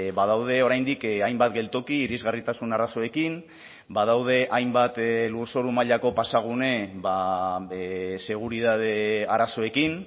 badaude oraindik hainbat geltoki irisgarritasun arazoekin badaude hainbat lurzoru mailako pasagune seguritate arazoekin